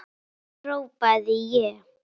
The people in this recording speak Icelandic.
hrópaði ég.